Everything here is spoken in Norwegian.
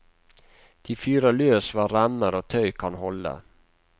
De fyrer løs hva remmer og tøy kan holde.